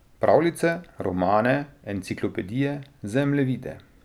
Pravljice, romane, enciklopedije, zemljevide.